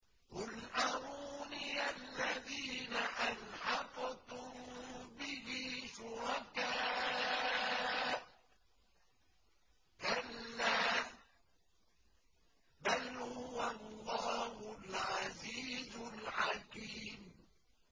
قُلْ أَرُونِيَ الَّذِينَ أَلْحَقْتُم بِهِ شُرَكَاءَ ۖ كَلَّا ۚ بَلْ هُوَ اللَّهُ الْعَزِيزُ الْحَكِيمُ